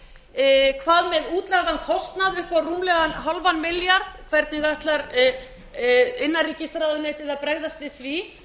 hvað með útlagðan kostnað upp á rúmlega hálfan milljarð hvernig ætlar innanríkisráðuneytið að bregðast við því